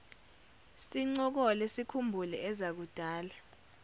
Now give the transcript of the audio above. sincokole sikhumbule ezakudala